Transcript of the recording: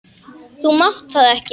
Þú mátt það ekki!